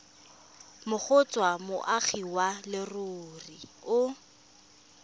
kgotsa moagi wa leruri o